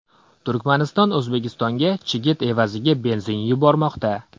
Turkmaniston O‘zbekistonga chigit evaziga benzin yubormoqda.